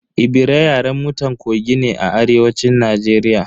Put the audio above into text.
Ebira Yaren mutan Kogi ne a arewacin Najeriya.